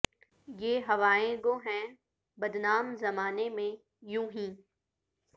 یہ ہوائیں گو ہیں بدنام زمانے میں یوں ہی